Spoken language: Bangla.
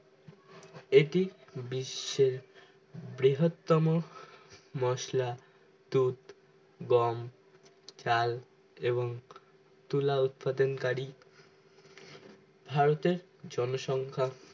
এটি বিশ্বের বৃহৎতম মশলা টুথ গম চাল এবং তুলা উৎপাদন কারী ভারতের জন সংখ্যা